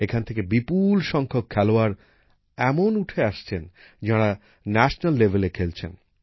এখান থেকে বিপুল সংখ্যক খেলোয়াড় এমন উঠে আসছেন যাঁরা জাতীয় স্তরে খেলছেন